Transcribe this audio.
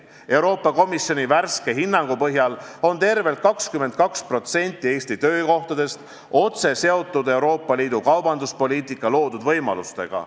Euroopa Komisjoni värske hinnangu põhjal on tervelt 22% Eesti töökohtadest otse seotud Euroopa Liidu kaubanduspoliitika loodud võimalustega.